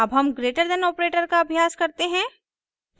अब हम greater than operator का अभ्यास करते हैं